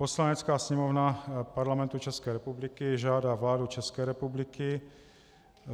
"Poslanecká sněmovna Parlamentu České republiky žádá vládu České republiky